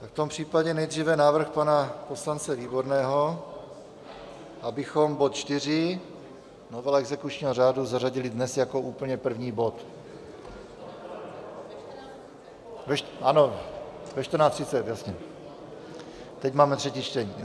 V tom případě nejdříve návrh pana poslance Výborného, abychom bod 4, novela exekučního řádu, zařadili dnes jako úplně první bod , ano, ve 14.30, jasně, teď máme třetí čtení.